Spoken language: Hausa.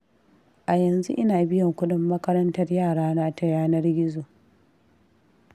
A yanzu ina biyan kuɗin makarantar yarana ta yanar gizo.